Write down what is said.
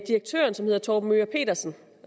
direktøren som hedder torben möger pedersen